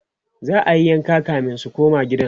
za'ayi yanka kamin su koma gidan